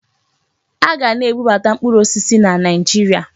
Aga na-ebubata mkpụrụ osisi na Naịjirịa.